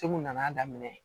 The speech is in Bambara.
Cugu nana daminɛ